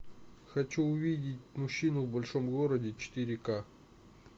хочу увидеть мужчину в большом городе четыре к